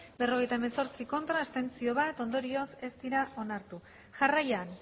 berrogeita hemezortzi ez bat abstentzio ondorioz ez dira onartu jarraian